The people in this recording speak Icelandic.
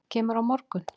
Kemurðu á morgun?